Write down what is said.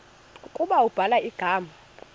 ukuba ubhala igama